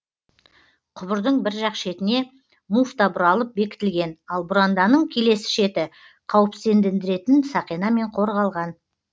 құбырдың бір жақ шетіне муфта бұралып бекітілген ал бұранданың келесі шеті қауіпсіздендіретін сақинамен қорғалған